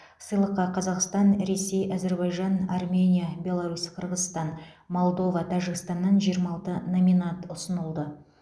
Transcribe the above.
сыйлыққа қазақстан ресей әзербайжан армения беларусь қырғызстан молдова тәжікстаннан жиырма алты номинант ұсынылды